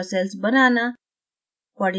super cells banana